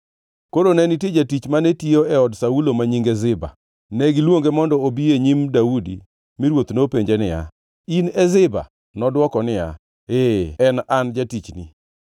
Koro ne nitie jatich mane tiyo e od Saulo ma nyinge Ziba. Ne giluonge mondo obi e nyim Daudi mi ruoth nopenje niya, “In e Ziba?” Nodwoko niya, “Ee, en an jatichni.”